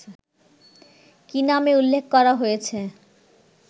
কি নামে উল্লেখ করা হয়েছে